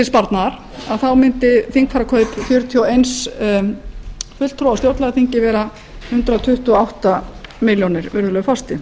sparnaðar þá mundi þingfararkaup fjörutíu og einn fulltrúa á stjórnlagaþingi vera hundrað tuttugu og átta milljónir virðulegi forseti